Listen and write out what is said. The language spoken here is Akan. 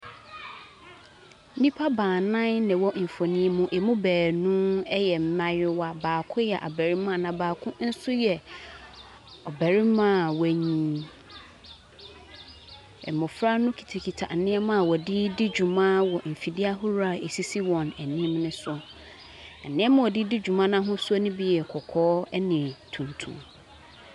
Nnipa baanan na wɔwɔ mfonin mu. Ɛmu baanu yɛ mmaayewa, baako yɛ abarimaa, na baako nso yɛ ɔbarima a wanyini. Mmɔfra no kitakita nnema a wɔde redi dwuma wɔ mfidie ahodoɔ a ɛsisi wɔn anim no so. Nneɛma a wɔde redi dwuma no ahosuo no bi yɛ kɔkɔɔ ne tuntum.